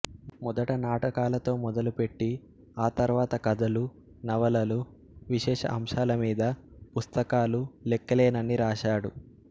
మొదట నాటకాలతో మొదలుపెట్టి ఆ తర్వాత కథలు నవలలు విశేష అంశాల మీద పుస్తకాలు లెక్కలేనన్ని రాశాడు